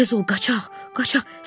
Tez ol, qaçaq, qaçaq.